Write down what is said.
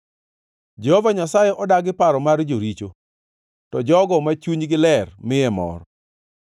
Jehova Nyasaye odagi paro mar joricho, to jogo ma chunygi ler miye mor.